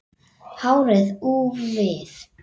Hárið úfið.